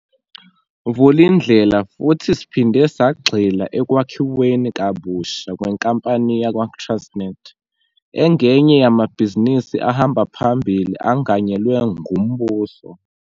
Vulindlela futhi siphinde sagxila ekwakhiweni kabusha kwenkampani yakwaTransnet, engenye yamabhizinisi ahamba phambili anganyelwe ngumbuso.